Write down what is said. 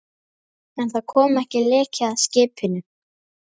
En það kom leki að skipinu.